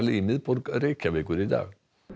í miðbæ Reykjavíkur í dag